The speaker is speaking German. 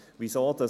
Weshalb dies?